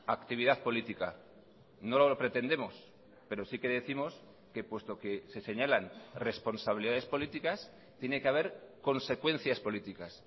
actividad política no lo pretendemos pero sí que décimos que puesto que se señalan responsabilidades políticas tiene que haber consecuencias políticas